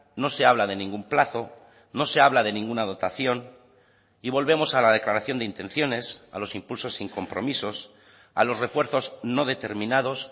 no se habla de ningún plazo no se habla de ninguna dotación y volvemos a la declaración de intenciones a los impulsos sin compromisos a los refuerzos no determinados